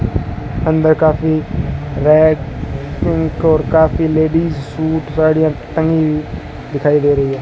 अंदर काफी रैक और काफी लेडीज सूट साड़ियां टंगी दिखाई दे रही है।